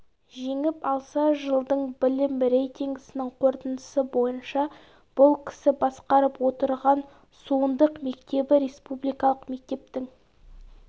жеңіп алса жылдың білім рейтингісінің қорытындысы бойынша бұл кісі басқарып отырған суындық мектебі республикалық мектептің